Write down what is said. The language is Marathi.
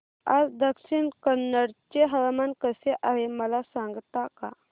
आज दक्षिण कन्नड चे हवामान कसे आहे मला सांगता का